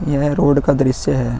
यह रोड का दृश्य है।